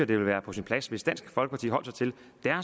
det ville være på sin plads hvis dansk folkeparti holdt